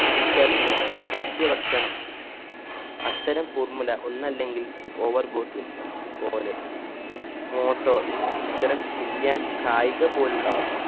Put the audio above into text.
തിരിച്ചറിഞ്ഞു സസ്യ ഭക്ഷണം അത്തരം formula ഒന്നെല്ലെങ്കിൽ പോലെ motor ഇത്തരം billiard കായിക പോലുള്ളവ